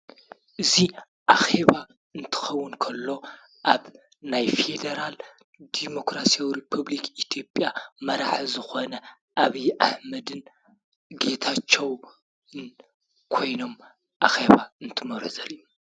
እዚ ኣኼ ባ እንትኸውን ከሎ ኣብ ናይ ፌደራላዊ ዲሞክራሲያዊ ሪፐብሊክ ኢ/ያ መራሒ ዝኾነ ኣብይ ኣሕመድን ጌታቸውን ኮይኖም ኣኼባ እንትመርሑ ዘርኢ እዩ።